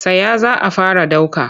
Tsaya za a fara ɗauka!